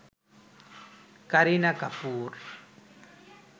Kareena Kapoor